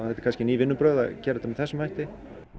eru kannski ný vinnubrögð að gera þetta með þessum hætti